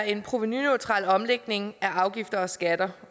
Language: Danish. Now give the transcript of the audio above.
en provenuneutral omlægning af afgifter og skatter